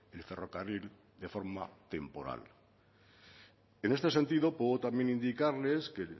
el ferrocarril de forma temporal en este sentido puedo también indicarles que